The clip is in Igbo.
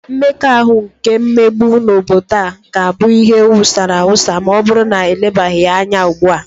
Mmekọahụ nke mmegbu n'obodo a ga-abụ ihe wusara ewusa ma ọbụrụ na elebaghị ya anya ugbua